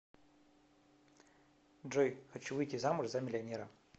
джой хочу выйти замуж за миллионера